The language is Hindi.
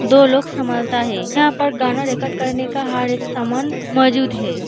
दो लोग संभालता है यहाँ पर गाना रिकॉर्ड करने का हर एक समान मौजूद है।